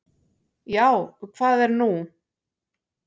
"""Já, hvað er nú?"""